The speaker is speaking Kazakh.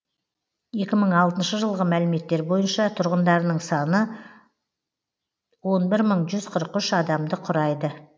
екі мың алтыншы жылғы мәліметтер бойынша тұрғындарының саны он бір мың жүз қырық үш адамды құрайды